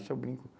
Isso eu brinco